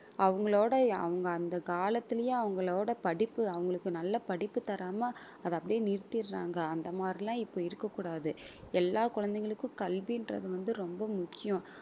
அவங்களோட அவங்க அந்த காலத்திலயும் அவங்களோட படிப்பு அவங்களுக்கு நல்ல படிப்பு தராம அது அப்படியே நிறுத்திறாங்க அந்த மாதிரி எல்லாம் இப்ப இருக்கக் கூடாது எல்லா குழந்தைகளுக்கும் கல்வின்றது வந்து ரொம்ப முக்கியம்